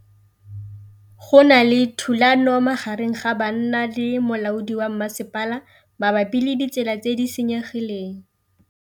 Go na le thulanô magareng ga banna le molaodi wa masepala mabapi le ditsela tse di senyegileng.